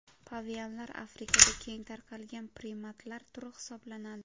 Pavianlar Afrikada keng tarqalgan primatlar turi hisoblanadi.